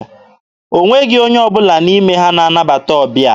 O nweghị onye ọbụla n'ime ha na-anabata ọbịa.